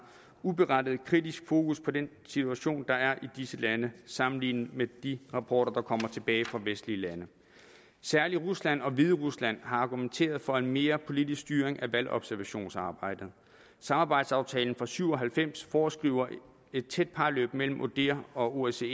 uberettiget kritisk fokus på den situation der er i disse lande sammenlignet med de rapporter der kommer tilbage fra vestlige lande særlig rusland og hviderusland har argumenteret for en mere politisk styring af valgobservationsarbejdet samarbejdsaftalen fra nitten syv og halvfems foreskriver et tæt parløb mellem odihr og osce